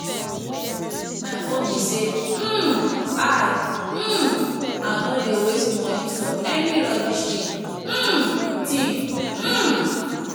my own be say um i um no dey waste money for any rubbish thing um thing um